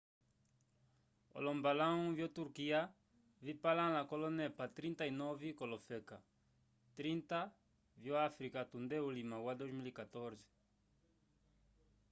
olombalãwu vyoturkiya vipalãla k'olonepa 39 k'olofeka 30 vyo-afrika tunde ulima wa 2014